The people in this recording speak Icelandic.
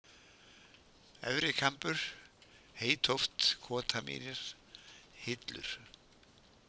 Efri-Kambur, Heytóft, Kotamýrar, Hillur